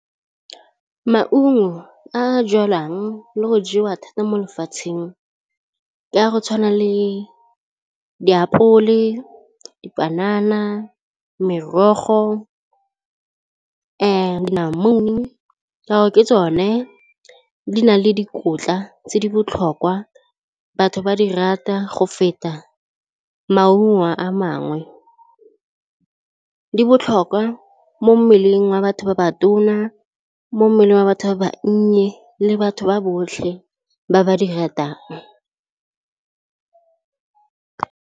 Maungo a jalwang le go jewa thata mo lefatsheng ke a go tshwana le ditapole, dipanana, merogo namune ka gore ke tsone di na le dikotla tse di botlhokwa batho ba di rata go feta maungo a mangwe. Di botlhokwa mo mmeleng wa batho ba ba tona, mo mmeleng wa batho ba ba nnye le batho ba botlhe ba ba di ratang.